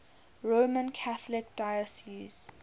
roman catholic diocese